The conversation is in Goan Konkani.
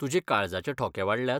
तुजे काळजाचे ठोके वाडल्यात?